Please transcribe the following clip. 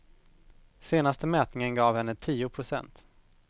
Senaste mätningen gav henne tio procent.